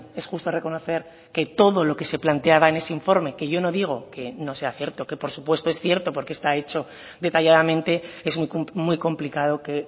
es justo reconocer que todo lo que se planteaba en ese informe que yo no digo que no sea cierto que por supuesto es cierto porque está hecho detalladamente es muy complicado que